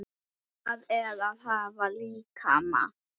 Hvað er að hafa líkama?